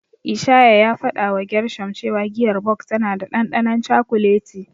Isaiah ya fadawa Gershom cewa giyar Bok tana da dandanon cakuleti.